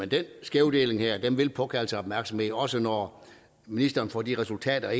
den skævdeling her vil påkalde sig opmærksomhed også når ministeren får de resultater